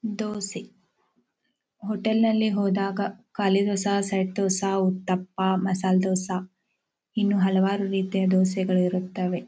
dosa hotel ನಲ್ಲಿ ಹೋದಾಗ ಖಾಲಿ ದೋಸಾ ಸೆಟ್ ದೋಸಾ ದಪ್ಪ ಮಸಾಲ್ ದೋಸಾ ಇನ್ನು ಹಲವಾರು ರೀತಿಯ ದೋಸೆ ಗಳು ಇರುತ್ತವೆ